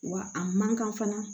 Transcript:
Wa a man kan fana